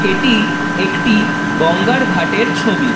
এটি একটি গঙ্গার ঘাটের ছবি।